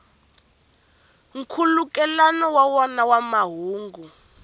nkhulukelano wa wona wa mahungu